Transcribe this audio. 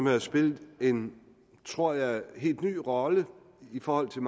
har jo spillet en tror jeg helt ny rolle i forhold til